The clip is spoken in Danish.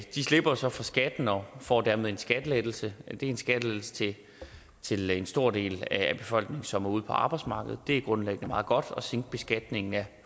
slipper så for skatten og får dermed en skattelettelse det er en skattelettelse til en stor del af befolkningen som er ude på arbejdsmarkedet det er grundlæggende meget godt at sænke beskatningen af